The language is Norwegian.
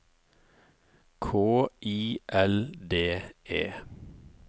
K I L D E